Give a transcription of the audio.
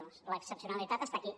doncs l’excepcionalitat està aquí